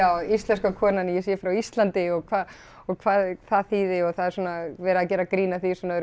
íslenska konan að ég sé frá Íslandi og hvað og hvað það þýði og það er svona verið að gera grín að því svona öðru